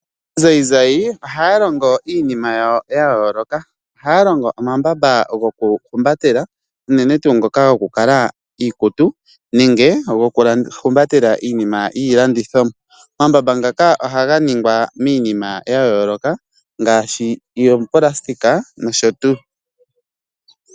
Aanzayinzayi ohaya longo iinima yawo ya yooloka. Ohaya longo omambamba goku humbatela unene tuu ngoka goku kala iikutu nenge goku humbatela iinima yiilandithomwa. Omambamba ngaka ohaga ningwa miinima ya yooloka ngaashi oonayilona nosho tuu.